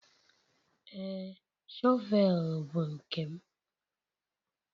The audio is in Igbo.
Ee, shọvel bụ nke m.